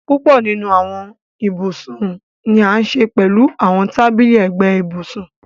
Púpọ̀ nínu awọn íbusun ni a ṣẹ pẹ̀lú àwọn tàbílí ẹgbẹ̀ íbusùn.